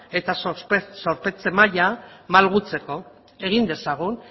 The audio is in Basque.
eta zorpetze maila malgutzeko egin dezagun